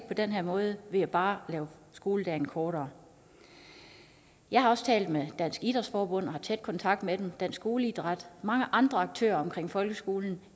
på den her måde ved bare at lave skoledagen kortere jeg har også talt med dansk idrætsforbund og har tæt kontakt med dansk skoleidræt mange andre aktører omkring folkeskolen